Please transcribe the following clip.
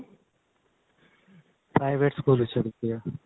private school ਵਿੱਚੋ ਕੀਤੀ ਹੈ